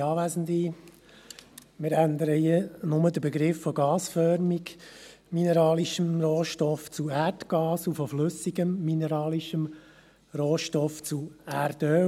Wir ändern hier bloss den Begriff «gasförmiger mineralischer Rohstoff» zu «Erdgas», und «flüssiger mineralischer Rohstoff» zu «Erdöl».